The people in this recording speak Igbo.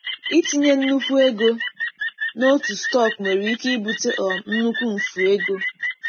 Itinye nnukwu ego n'otu stọkụ nwere ike ibute um nnukwu mfu ego.